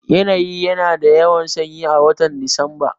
Yanayi ya na da yawan sanyi a watan Disamba